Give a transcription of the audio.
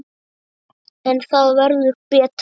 En það verður betra.